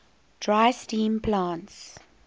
dry steam plants